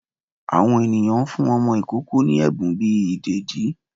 Àwọn eníyan n fún ọmọ ìkoko ní ebún bí idedi